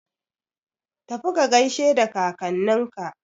Tafi ka gaishe da kakanninka!